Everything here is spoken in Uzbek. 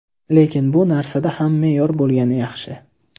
Lekin bu narsada ham me’yor bo‘lgani yaxshi.